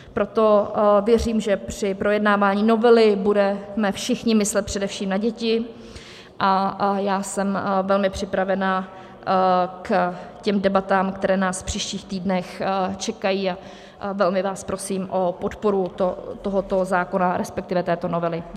Proto věřím, že při projednávání novely budeme všichni myslet především na děti a já jsem velmi připravena k těm debatám, které nás v příštích týdnech čekají, a velmi vás prosím o podporu tohoto zákona, respektive této novely.